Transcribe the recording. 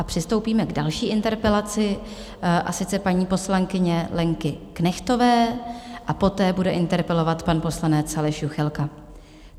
A přistoupíme k další interpelaci, a sice paní poslankyně Lenky Knechtové, a poté bude interpelovat pan poslanec Aleš Juchelka.